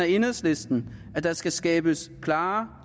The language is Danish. i enhedslisten at der skal skabes klare